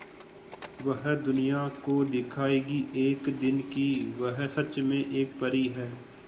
वह दुनिया को दिखाएगी एक दिन कि वह सच में एक परी है